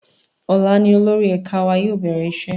Ọ̀la ni olórí ẹ̀ka wa yóò bẹ̀rẹ̀ iṣẹ́